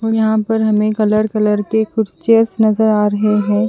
और यहा पर हमे कलर कलर के कुछ चेयर्स नज़र आ रहे है।